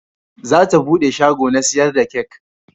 Za ta bude shago na sayar da kek